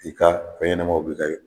I ka fɛn ɲɛnamaw bi ka